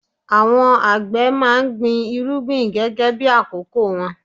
Àwọn àgbẹ̀ máa gbin irúgbìn gẹ́gẹ́ bí àkókò wọn.